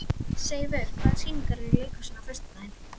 Seifur, hvaða sýningar eru í leikhúsinu á föstudaginn?